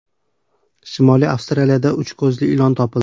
Shimoliy Avstraliyada uch ko‘zli ilon topildi.